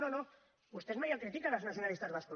no no vostès mai els critiquen els nacionalistes bascos